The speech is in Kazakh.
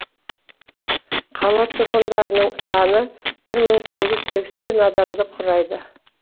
қала тұрғындарының саны бір мың сегіз жүз сексен адамды құрайды